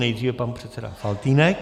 Nejdříve pan předseda Faltýnek.